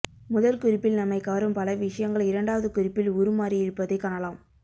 முதல் குறிப்பில் நம்மைக் கவரும் பல விஷயங்கள் இரண்டாவது குறிப்பில் உருமாறியிருப்பதைக் காணலாம்